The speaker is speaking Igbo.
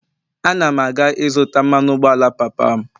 Ana m aga ịzụta mmanụ ụgbọala papa m